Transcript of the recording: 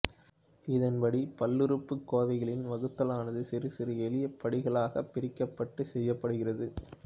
இதன்படி பல்லுறுப்புக்கோவைகளின் வகுத்தலானது சிறுசிறு எளிய படிகளாகப் பிரிக்கப்பட்டுச் செய்யப்படுகிறது